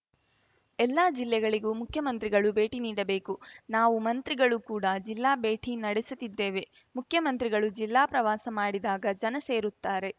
ಎಲ್ಲಾ ಜಿಲ್ಲೆಗಳಿಗೂ ಮುಖ್ಯಮಂತ್ರಿಗಳು ಭೇಟಿ ನೀಡಬೇಕು ನಾವು ಮಂತ್ರಿಗಳು ಕೂಡ ಜಿಲ್ಲಾ ಭೇಟಿ ನಡೆಸುತ್ತಿದ್ದೇವೆ ಮುಖ್ಯಮಂತ್ರಿಗಳು ಜಿಲ್ಲಾ ಪ್ರವಾಸ ಮಾಡಿದಾಗ ಜನ ಸೇರುತ್ತಾರೆ